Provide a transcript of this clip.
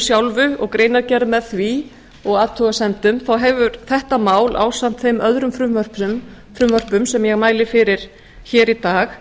sjálfu og greinargerð með því og athugasemdum þá hefur þetta mál ásamt þeim öðrum frumvörpum sem ég mæli fyrir í dag